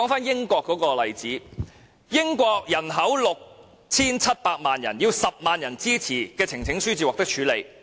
英國人口有 6,700 萬人，要10萬人支持，呈請書方能獲處理。